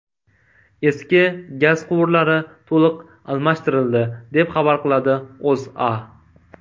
Eski gaz quvurlari to‘liq almashtirildi, deb xabar qiladi O‘zA.